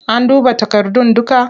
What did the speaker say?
An duba takardun dukka?